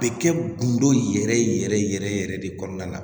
Bɛ kɛ gundo yɛrɛ yɛrɛ yɛrɛ yɛrɛ de kɔnɔna la